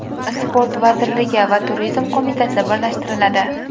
Sport vazirligi va Turizm qo‘mitasi birlashtiriladi.